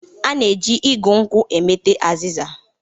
A na-eji igụ nkwụ emete azịza.